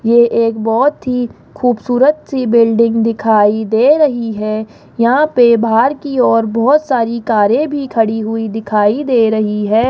ये एक बहुत ही खूबसूरत सी बिल्डिंग दिखाई दे रही है यहां पे बाहर की ओर बहुत सारी कारें भी खड़ी हुई दिखाई दे रही है।